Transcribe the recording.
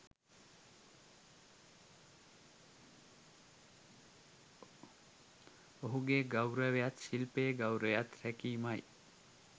ඔහුගේ ගෞරවයත් ශිල්පයේ ගෞරවයත් රැකීමයි.